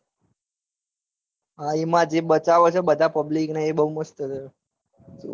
હા એમાં જે બચાવ છ બધા public ન એ બઉ મસ્ત છ.